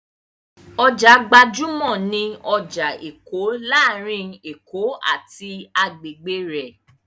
Ọjà gbajúmọ̀ ni ọjà Èkó láàárín Èkó àti agbègbè rẹ̀.